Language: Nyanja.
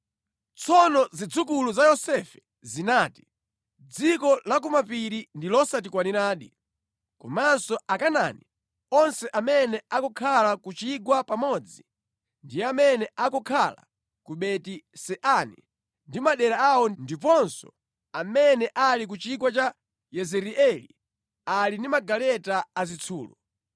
Tsono zidzukulu za Yosefe zinati, “Dziko la ku mapiri ndi losatikwaniradi, komanso Akanaani onse amene akukhala ku chigwa pamodzi ndi amene akukhala ku Beti-Seani ndi madera awo ndiponso amene ali ku chigwa cha Yezireeli ali ndi magaleta azitsulo.”